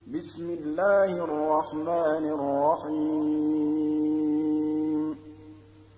بِسْمِ اللَّهِ الرَّحْمَٰنِ الرَّحِيمِ